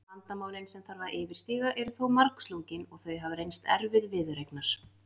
Vandamálin sem þarf að yfirstíga eru þó margslungin og þau hafa reynst erfið viðureignar.